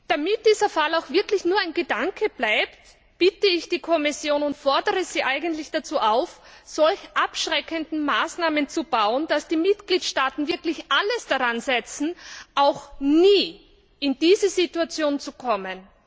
Damit dieser Fall auch wirklich nur ein Gedanke bleibt, bitte ich die Kommission und fordere sie eigentlich auf, so abschreckende Maßnahmen zu erlassen, dass die Mitgliedstaaten wirklich alles daran setzen, auch nie in diese Situation zu kommen.